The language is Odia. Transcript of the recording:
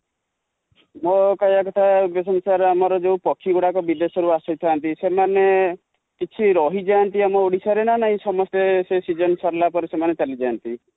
ମୋ କହିବା କଥା ,ଦେଖନ୍ତୁ sir ଆମ ର ଯୋଉ ପକ୍ଷୀ ଗୁଡା ବିଦେଶ ରୁ ଆସି ଥାନ୍ତି, ସେମାନେ କିଛି ରହି ଯାଆନ୍ତି ଆମ ଓଡିଶା ରେ ନା ନାହିଁ ସମସ୍ତେ ସେ season ସରିଲା ପରେ ସେମାନେ ଚାଲି ଯାଆନ୍ତି |